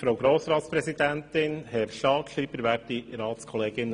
Damit kommen wir zu den Einzelsprechern.